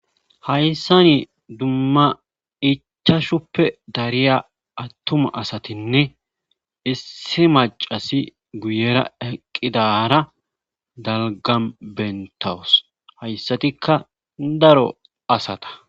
hayssani dumma ichashuppe dariya attuma asatinne issi maccasi guyera eqqidara dalgam bentawus hayssatikka daro asata.